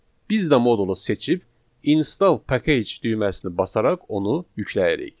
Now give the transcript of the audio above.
Biz də modulu seçib install package düyməsini basaraq onu yükləyirik.